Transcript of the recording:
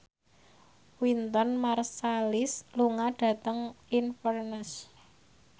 Wynton Marsalis lunga dhateng Inverness